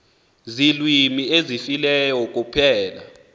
ziilwimi ezifileyo kuphela